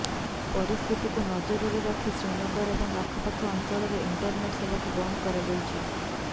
ପରିସ୍ଥିତିକୁ ନଜରରେ ରଖି ଶ୍ରୀନଗର ଏବଂ ଆଖପାଖ ଅଞ୍ଚଳରେ ଇଣ୍ଟରନେଟ୍ ସେବାକୁ ବନ୍ଦ କରାଯାଇଛି